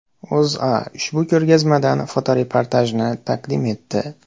O‘zA ushbu ko‘rgazmadan fotoreportajni taqdim etdi .